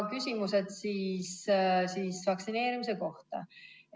" Küsimused siis vaktsineerimise kohta.